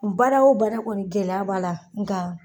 N baara wo baara kɔni gɛlɛya b'a la nga